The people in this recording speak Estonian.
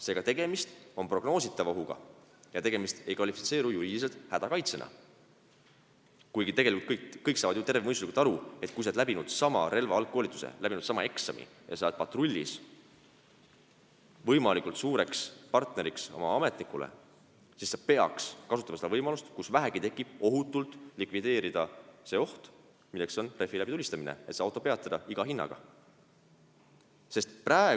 Seega, tegemist on prognoositava ohuga ja see ei kvalifitseeru juriidiliselt hädakaitsena, kuigi kõik saavad ju terve mõistuse abil aru, et kui sa oled läbinud sama relvakoolituse, teinud ära sama eksami ja sa oled patrullis, võimalikult hea partner ametnikule, siis sa peaksid kasutama võimalust, kui see vähegi tekib, ohutult likvideerida oht, kasutades rehvi läbitulistamist selleks, et see auto iga hinna eest peatada.